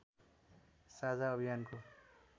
साझा अभियानको